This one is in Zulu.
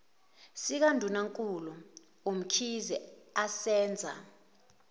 sikandunankulu umkhize asenza